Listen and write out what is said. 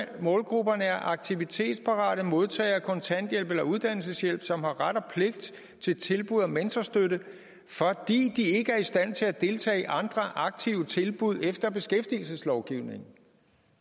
målgrupperne er aktivitetsparate modtagere af kontanthjælp eller uddannelseshjælp som har ret og pligt til tilbud om mentorstøtte fordi de ikke er i stand til at deltage i andre aktive tilbud efter beskæftigelseslovgivningen